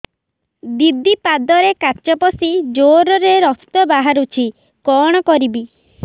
ଦିଦି ପାଦରେ କାଚ ପଶି ଜୋରରେ ରକ୍ତ ବାହାରୁଛି କଣ କରିଵି